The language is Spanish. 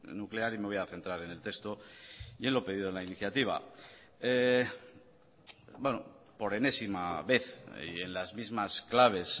nuclear y me voy a centrar en el texto y en lo pedido en la iniciativa por enésima vez y en las mismas claves